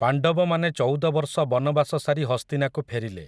ପାଣ୍ଡବମାନେ ଚଉଦ ବର୍ଷ ବନବାସ ସାରି ହସ୍ତିନାକୁ ଫେରିଲେ ।